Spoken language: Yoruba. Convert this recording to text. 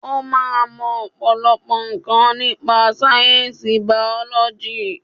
O máa mọ ọ̀pọ̀lọpọ̀ nǹkan nípa sáyẹ̀nsì bàọ́lọ́jì